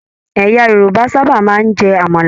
Ẹ̀yà Yorùbá sábà máa n jẹ àmàlà.